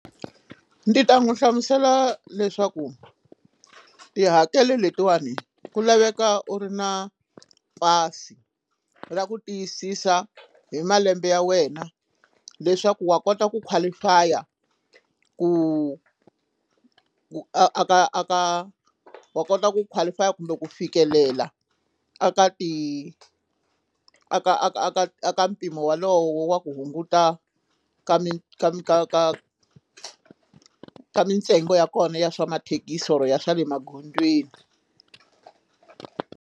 Ndzi ta n'wi hlamusela leswaku tihakelo letiwani ku laveka u ri na pasi ra ku tiyisisa hi malembe ya wena leswaku wa kota ku qualify-a ku a ka a ka wa kota ku qualify-a kumbe ku fikelela a ka ti a ka a a ka mpimo wolowo wa ku hunguta ka mi ka ka ka ka mintsengo ya kona ya swa mathekisi or ya swa le magondzweni.